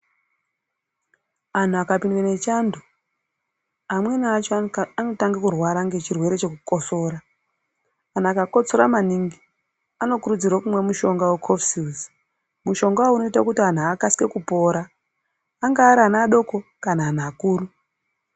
Anhu akapindwa nechando amweni acho anotanga kurwara nechirwere chekukosora kana akakotsora maningi anokurudzirwa kumwa mushonga wecofsils mushonga uyu anoita kuti muntu akasire kupora angava vana vadoko kana muntu mukuru.